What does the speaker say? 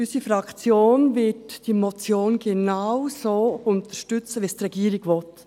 Unsere Fraktion wird diese Motion genau so unterstützen, wie es die Regierung will.